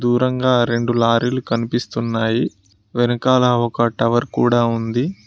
దూరంగా రెండు లారీలు కనిపిస్తున్నాయి వెనకాల ఒక టవర్ కూడా ఉంది.